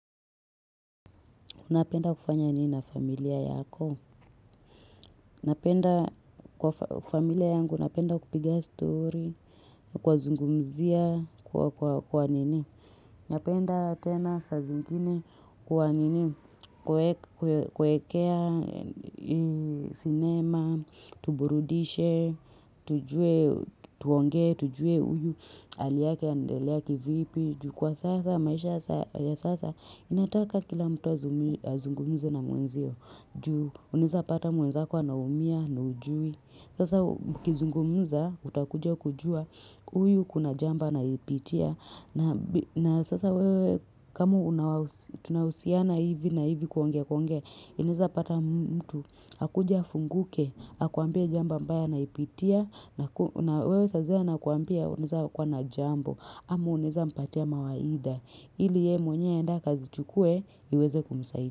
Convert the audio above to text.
Unapenda kufanya nini na familia yako? Napenda kupiga story kwa zungumzia kwa nini napenda tena saa zingine kuwa nini kuwaekea sinema tuburudike tujue tuonge tujue huyu hali yake yaendelea kivipi jukwa sasa maisha ya sasa inataka kila mtu azungumze na mwenziyo unawezapata mwenzako anaumia na hujui sasa mkizungumza utakuja kujua sinema tuburudike tujue tuonge tujue huyu hal iyake andeleake vipi jukuwa sasa maisha ya sasa inataka kila mtu azungumuze na mwenziyo uneza pata mwenza kwa naumia na ujui sasa kizungumuza utakuja kujua.